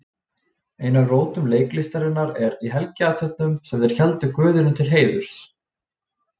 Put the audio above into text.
Ein af rótum leiklistarinnar er í helgiathöfnum sem þeir héldu guðinum til heiðurs.